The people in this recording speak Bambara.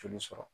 Joli sɔrɔ